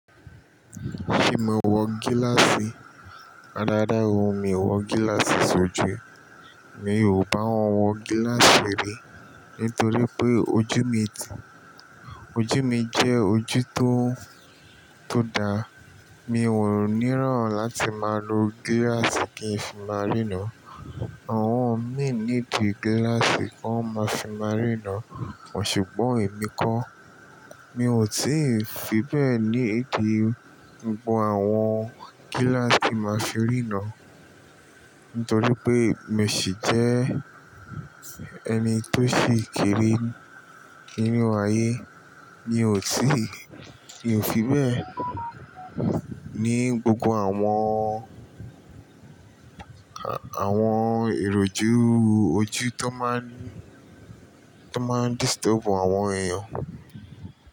Ṣé mo wọ gíláàsì? Rárá o, mi ò wọ gíláàsì sójú. Mi o má n wọ gíláàsì rí, nítorí pé ojú mi ti-- ojú mi jẹ́ ojú tó, tó dáa. Mi ò níran láti máa lo gíláàsì kí n fi máa rínọ̀. Àwọn mì níìdí gíláàsì kan máa fi máa ríran, sùgbọn èmi kọ́. Mi ò tíì fi bẹ́ẹ̀ ní èkì gbogbo àwọn gíláàsì tí máa fi ríran. Nítorí pé mo sì jẹ́ ẹni tó si kere ninú ayé. Mi ò tíì, mi ò fi bẹ́ẹ̀ ní gbogbo àwọn, àwọn iròju ojú tó máa ń ní, tó máa ń disturb àwọn eẹ̀yàn.